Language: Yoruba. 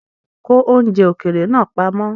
Ko oúnjẹ ókéré naa pamọ́!